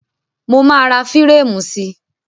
Mo máa ra fírámù sí.